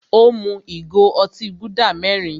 Ó mú ìgò otí Gúdà mẹ́rin.